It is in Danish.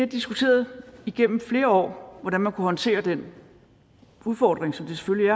diskuteret igennem flere år hvordan man kunne håndtere den udfordring som det selvfølgelig